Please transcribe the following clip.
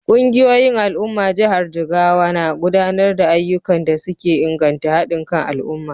Kungiyoyin al’ummar jihar Jigawa na gudanar da ayyukan da suke inganta hadin kan al’umma.